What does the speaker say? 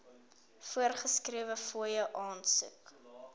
voorgeskrewe fooie aansoek